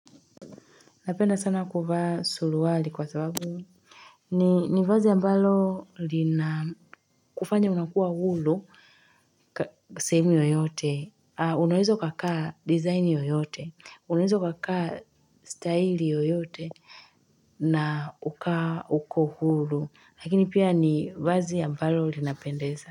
Napenda sana kuvaa suruwali kwa sababu. Ni vazi ambalo lina kufanya unakuwa hulu. Kwa sehemu yoyote. Unaweza ukakaa design yoyote. Unaweza ukakaa style yoyote. Na uka uko hulu. Lakini pia ni vazi ambalo lina pendeza.